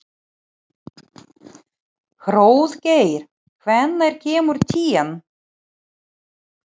Hróðgeir, hvenær kemur tían?